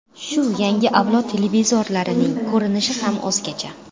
Shu yangi avlod televizorlarining ko‘rinishi ham o‘zgacha.